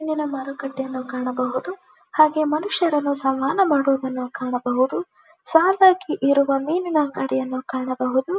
ಮೀನಿನ ಮಾರುಕಟ್ಟೆಯನ್ನು ಕಾಣಬಹುದು ಹಾಗೆ ಮನುಷ್ಯರು ಸ್ಥಾನ ಮಾಡುದನ್ನು ಸಹ ಕಾಣಬಹುದು ಸಾಲಾಗಿ ಇರುವ ಮಿನಿನ್ ಆ ಅಂಗಡಿಯನ್ನು ಸಹ ಕಾಣಬಹುದು.